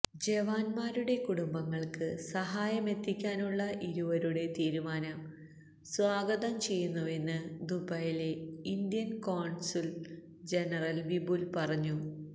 ജവാന്മാരുടെ കുടുംബങ്ങള്ക്ക് സഹായമെത്തിക്കാനുള്ള ഇരുവരുടെ തീരുമാനം സ്വാഗതം ചെയ്യുന്നുവെന്ന് ദുബായിലെ ഇന്ത്യന് കോണ്സുല് ജനറല് വിപുല് പറഞ്ഞു